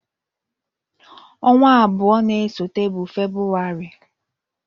Ọnwa abụọ na-esote bụ Febụwarị.